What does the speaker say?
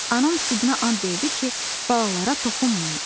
Anam südünə and verdi ki, balalara toxunmayım.